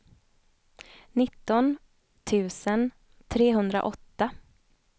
nitton tusen trehundraåtta